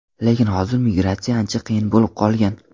Lekin hozir migratsiya ancha qiyin bo‘lib qolgan.